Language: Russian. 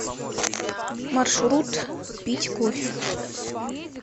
маршрут пить кофе